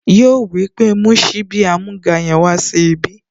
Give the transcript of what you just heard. Yíò wípé, "mú síbí amúga yẹn wá sí ibí"